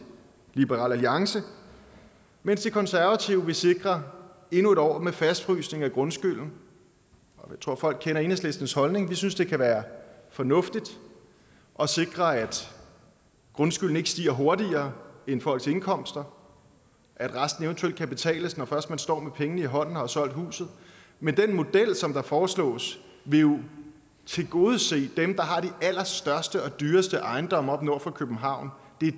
liberal alliance mens de konservative vil sikre endnu en år med fastfrysning af grundskylden jeg tror folk kender enhedslistens holdning vi synes det kan være fornuftigt at sikre at grundskylden ikke stiger hurtigere end folks indkomster at resten eventuelt kan betales når først man står med pengene i hånden og har solgt huset men den model som foreslås vil jo tilgodese dem der har de allerstørste og dyreste ejendomme oppe nord for københavn